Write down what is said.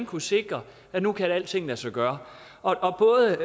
kunne sikre at nu kan alting lade sig gøre og både